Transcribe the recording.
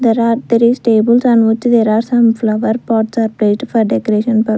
there are there is tables and which there are some flower pots are paid for decoration pur--